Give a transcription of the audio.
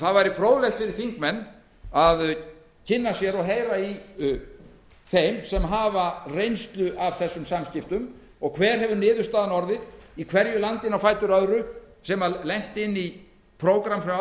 það væri fróðlegt fyrir þingmenn að kynna sér og heyra í þeim sem hafa reynslu af þessum samskiptum og hver hefur niðurstaðan orðið í hverju landinu á fætur öðru sem lenti inni í prógrammi hjá